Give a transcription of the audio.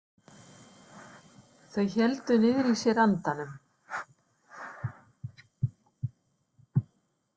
Þau héldu niðri í sér andanum.